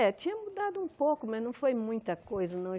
É, tinha mudado um pouco, mas não foi muita coisa, não.